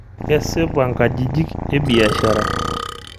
Kesipa ngajijik ebiashara.